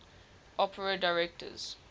opera directors